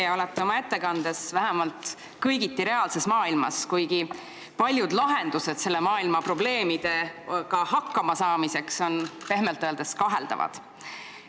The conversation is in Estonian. Te olete oma ettekandega vähemalt kõigiti reaalses maailmas, kuigi paljud lahendused selle maailma probleemidega hakkama saamiseks on pehmelt öeldes kaheldavad.